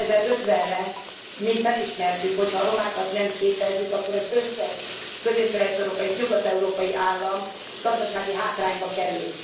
2050 re mi felismertük, hogy ha a romákat nem képezzük, akkor az összes közép kelet európai és nyugat európai állam gazdasági hátrányba kerül.